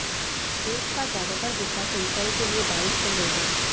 देश का ज्यादातर हिस्सा सिंचाई के लिए बारिश पर निर्भर है